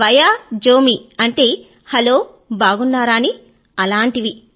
వైజోమ్ అంటే హలో అని అలాంటివి